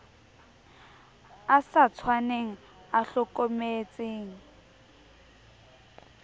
a sa tshwaneng a hlokometseng